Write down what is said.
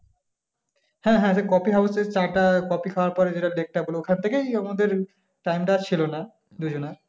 হ্যাঁ হ্যাঁ coffee house র চা টা, কফি খাওয়ার পর ওইখান থেকেই আমাদের ছিল না দুজনের ।